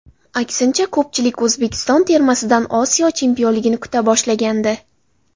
Aksincha, ko‘pchilik O‘zbekiston termasidan Osiyo chempionligini kuta boshlagandi.